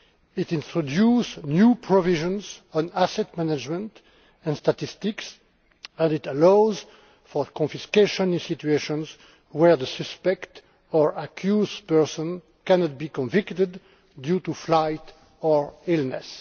It introduces new provisions on asset management and statistics and allows for confiscation in situations where the suspect or accused person cannot be convicted due to flight or illness.